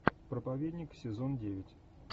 проповедник сезон девять